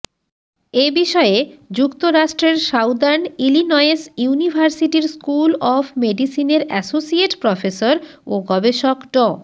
এ বিষয়ে যুক্তরাষ্ট্রের southern Illinois ইউনিভার্সিটির স্কুল অব মেডিসিনের অ্যাসোসিয়েট প্রফেসর ও গবেষক ড